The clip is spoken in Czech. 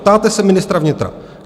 Ptáte se ministra vnitra.